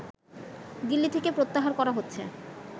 দিল্লি থেকে প্রত্যাহার করা হচ্ছে